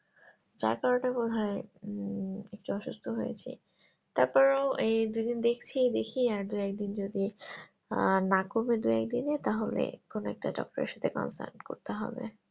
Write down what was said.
যার কারণে মনে হয় উম একটু অসুস্থ হয়েছি তারপরেও এই দু দিন দেখছি দেখা আর দু এক দিন যদি আহ না কমে দু এক দিনে তাহলে কোনো একটা doctor এর সাথে concern করতে হবে